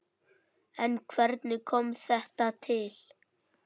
En hvernig kom þetta til?